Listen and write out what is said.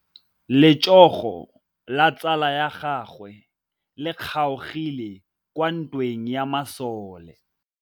Letsôgô la tsala ya gagwe le kgaogile kwa ntweng ya masole.